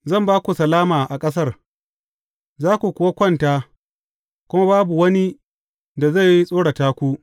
Zan ba ku salama a ƙasar, za ku kuwa kwanta, kuma babu wani da zai tsorata ku.